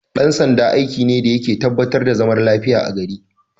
Dan sanda aiki ne dayake tabba tar da zaman lafiyar a gari